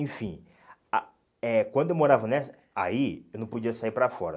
Enfim, ah eh quando eu morava nessa, aí eu não podia sair para fora.